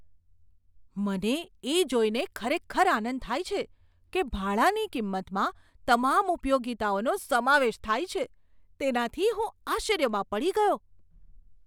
મને એ જોઈને ખરેખર આનંદ થાય છે કે ભાડાની કિંમતમાં તમામ ઉપયોગિતાઓનો સમાવેશ થાય છે. તેનાથી હું આશ્ચર્યમાં પડી ગયો!